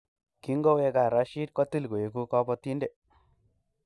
kingoweeka Rashid, kotil koeku kabotinde